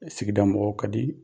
sigida mɔgɔw kadi